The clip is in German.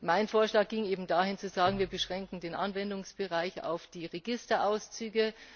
Mein Vorschlag ging eben dahin zu sagen Wir beschränken den Anwendungsbereich auf die Registerauszüge.